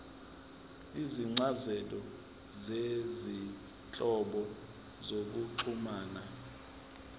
izincazelo zezinhlobo zokuxhumana